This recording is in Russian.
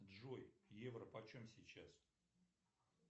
джой евро почем сейчас